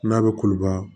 N'a bɛ koloba